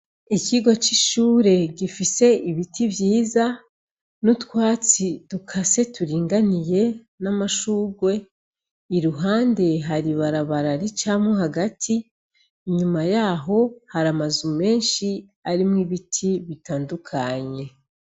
ikigo c'ishure gifise ibiti vyiza n'utwatsi turinganiye n'amashurwe, iruhande har'ibarabara ricamwo hagati, inyuma yaho hari amazu menshi arimwo ibiti bitandukanye.